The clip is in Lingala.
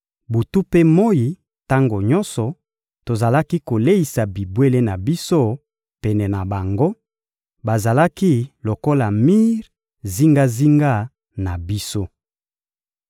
Butu mpe moyi, tango nyonso tozalaki koleisa bibwele na biso pene na bango, bazalaki lokola mir zingazinga na biso.